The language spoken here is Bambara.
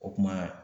O kuma